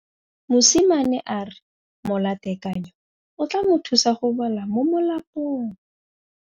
Mosimane a re molatekanyô o tla mo thusa go bala mo molapalong.